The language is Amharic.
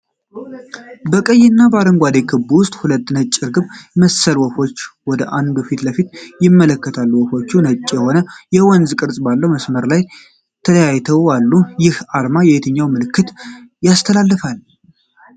በቀይና በአረንጓዴ ክብ ውስጥ ሁለት ነጭ ርግብ መሰል ወፎች ወደ አንዱ ፊት ለፊት ይመለከታሉ። ወፎቹ ነጭ የሆነ የወንዝ ቅርጽ ባለው መስመር ተለያይተው አሉ። ይህ አርማ የትኛውን መልዕክት ያስተላልፋል?